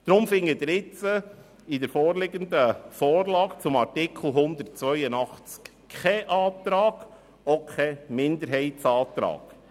Deshalb finden Sie in der Ihnen vorliegenden Vorlage zum Artikel 82 weder einen Antrag noch einen Minderheitsantrag.